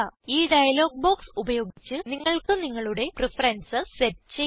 ഈ dialog box ഉപയോഗിച്ച് നിങ്ങൾക്ക് നിങ്ങളുടെ പ്രഫറൻസസ് സെറ്റ് ചെയ്യാം